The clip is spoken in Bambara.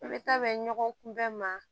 I bɛ taa bɛn ɲɔgɔn kunbɛn ma